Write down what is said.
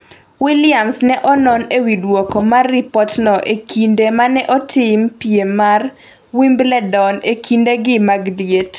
Williams ne onon e wi duoko mar ripotno e kinde ma ne otim piem mar Wimbledon e kindegi mag liet